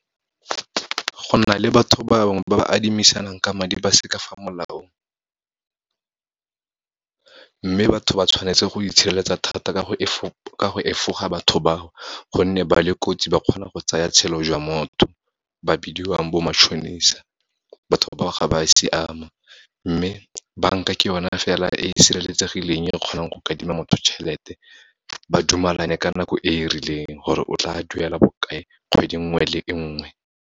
Go na le batho bangwe ba ba adimisanang ka madi, ba se ka fa molaong. Mme batho ba tshwanetse go itshireletsa thata ka go efoga batho bao, gonne ba le kotsi, ba kgona go tsaya tshelo jwa motho, ba bidiwang bo matšhonisa, batho bao ga ba siama. Mme banka ke yona fela e sireletsegileng, e kgonang go motho tjhelete, ba dumalane ka nako e rileng, gore o tla duela bokae, kgwedi nngwe le e nngwe.